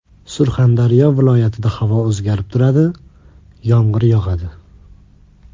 Surxondaryo viloyatida havo o‘zgarib turadi, yomg‘ir yog‘adi.